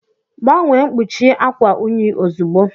Gbanwee mkpuchi akwa unyi ozugbo